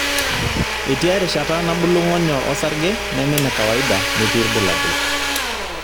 Etii erishata nabulu ng'onyo osarge neme nekawaida metii ilbulabul .